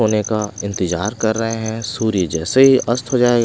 होने का इंतजार कर रहे हैं सूर्य जैसे ही अस्त हो जाएगा--